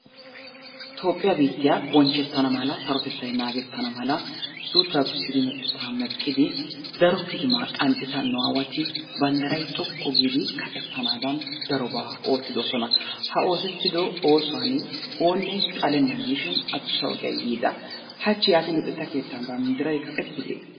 Toophphiya biittiya bonchchettana mala, sarotettay naagettana mala, suuttaa gussidi, meqettaa meqqidi daro kitimaa qanxxida nu aawati banddiray xoqqu giidi kaqettanaadan darobaa oottidosona. Ha oosettida oosuwan oonne xalennana diishin adussa ogiya yiida. Hachchi yaatin luxetta keettan banddiray kaqettidee?